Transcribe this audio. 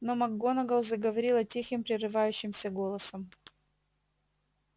но макгонагалл заговорила тихим прерывающимся голосом